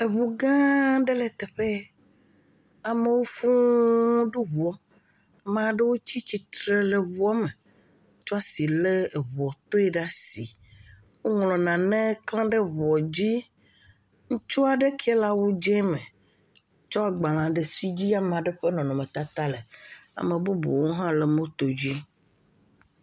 Eŋu gããaa ɖe e teƒe yɛ. Amewo fũuu ɖo ŋuɔ. Amaa ɖewo tsa tsitre le ŋuɔ me, tsɔ asi lé ŋuɔtoe le asii. Woŋlɔ nane klã ɖe ŋuɔ dzi. Ŋutsuɔ ɖe kee le awu dzẽ me. tsɔ agbalẽ si dzi ame aɖe ƒe nɔnɔmetata le. Ame bubuwo hã le motodzi.